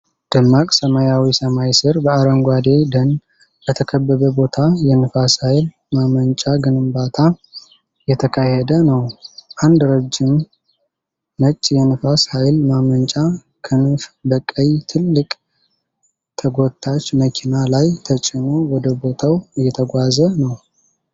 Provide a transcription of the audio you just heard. ደማቅ ሰማያዊ ሰማይ ስር፣ በአረንጓዴ ደን በተከበበ ቦታ የንፋስ ኃይል ማመንጫ ግንባታ እየተካሄደ ነው። አንድ ረጅም ነጭ የንፋስ ኃይል ማመንጫ ክንፍ በቀይ ትልቅ ተጎታች መኪና ላይ ተጭኖ ወደ ቦታው እየተጓጓዘ ነው።